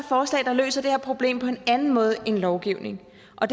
forslag der løser det her problem på en anden måde end lovgivning og